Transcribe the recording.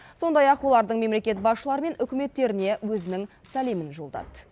сондай ақ олардың мемлекет басшылары мен үкіметтеріне өзінің сәлемін жолдады